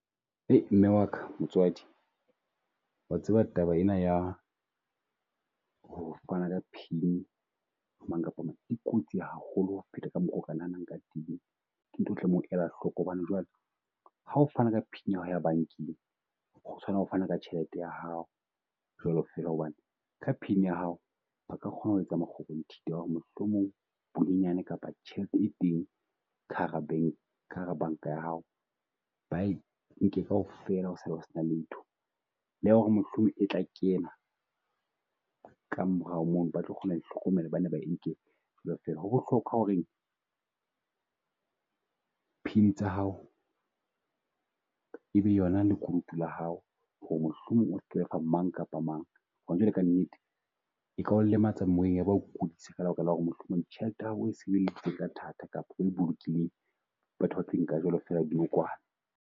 Mme wa ka motswadi, wa tseba taba ena ya ho fana ka pin ho mang kapa mang, e kotsi haholo ho feta ka mokgwa o ka nahanang ka teng. Ke ntho e o tlamehang ho di ela hloko, hobane Jwale. Ha o fana ka pin ya hao ya bankeng ho tshwana o fana ka tjhelete ya hao jwalo fela. Hobane ka pin ya hao ba ka kgona ho etsa makgobonthitha ho re mohlomong bonyane kapa tjhelete e teng ka hara ka hara banka ya hao. Ba e nke kaofela o sale o se na letho le ho re mohlomong e tla kena ka morao mono, ba tlo kgona ho hlokomela ba ne ba e nke . Ho bohlokwa ho re pin tsa hao, e be yona lekunutu la hao ho re mohlomong o mang kapa mang. Hona jwale ka nnete, e ka o lematsa moeng ya ba okudisa ka lebaka la ho re mohlomong tjhelete ya hao e sebeleditsweng ka thata kapa o e bolokehile. Batho ba tlo e nka fela jwalo dinokwane.